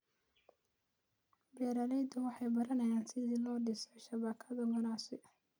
Beeraleydu waxay baranayaan sida loo dhiso shabakado ganacsi.